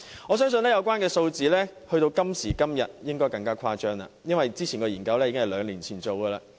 我相信有關數字到了今時今日應更為誇張，因為這項研究是在兩年前進行的。